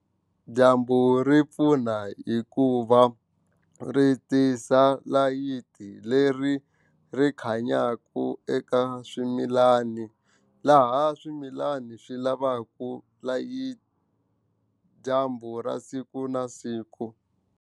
Dyambu ri pfuna hikuva ri tisa layiti leri ri khanyaka eka swimilani laha swimilani swi lavaku dyambu ra siku na siku.